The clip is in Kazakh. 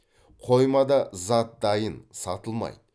қоймада зат дайын сатылмайды